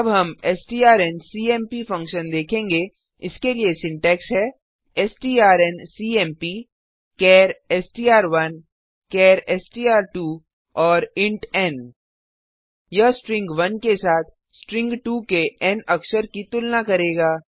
अब हम STRNCMP function देखेंगे इसके लिए सिंटैक्स है strncmpचार एसटीआर1 चार एसटीआर2 और इंट एन यह स्ट्रिंग 1 के साथ स्ट्रिंग 2 के एन अक्षर की तुलना करेगा